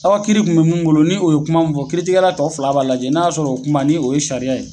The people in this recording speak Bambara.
Aw ka kiiri kun mɛ mun bolo ni o ye kuma mun fɔ kiiritigɛla tɔ fila b'a lajɛ n'a y'a sɔrɔ, o kuma, ni o ye sariya ye.